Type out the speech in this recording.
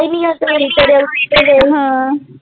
ਤੇਰੇ ਹਾਂ।